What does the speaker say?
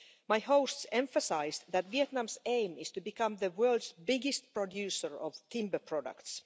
My hosts emphasised that Vietnam's aim is to become the world's biggest producer of timber products.